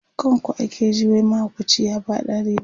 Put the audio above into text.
kan ku ake ji wai mahaukaci ya faɗa a rijiya